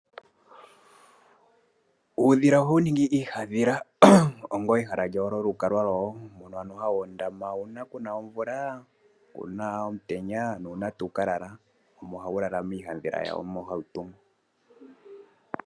Uudhila ohawu ningi iihandhila ongo ehala lyawo lyolu kalwa lwawo. Mono hawu ondama uuna kuna omvula kuna omutenya nuuna tawu ka lala. Omo hawu lala miihandhila yawo mbyo hawu tungu.